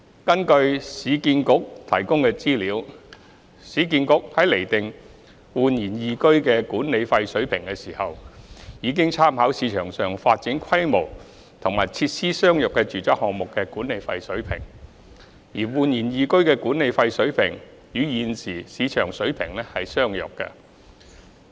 根據市建局提供的資料，市建局在釐定煥然懿居的管理費水平時，已參考市場上發展規模及設施相若的住宅項目的管理費水平，而煥然懿居的管理費水平與現時市場水平相若。